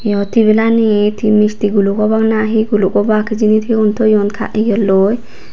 eyot tebilanit hi misti guluk obak ni hi guluk obak hijeni siyun toyon ka iyelloi.